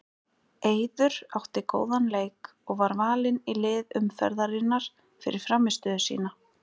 Eiður átti góðan leik og var valinn í lið umferðarinnar fyrir frammistöðu sína.